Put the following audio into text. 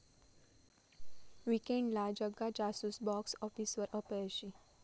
वीकेण्डला 'Jagga Jasoos' box आॅफिसवर अपयशी